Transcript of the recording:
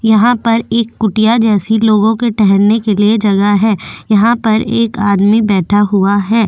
यहां पर एक कुटिया जैसी लोगों के ठहरने के लिए जगह है यहां पर एक आदमी बैठा हुआ है --